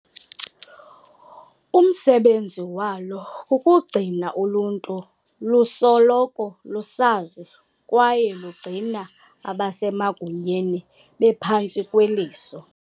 Umsebenzi walo kukugcina uluntu luso loko lusazi kwaye lugcina abasemagunyeni bephantsi kweliso.